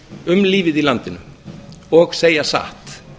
um lífið í landinu og segja satt